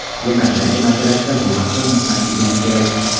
Demokratiya masalasida bu haqda unutmasligimiz kerak.